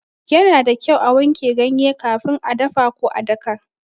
Yana da kyau a wanke ganye kafin a dafa ko a daka.